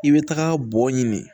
I bɛ taga bɔn ɲini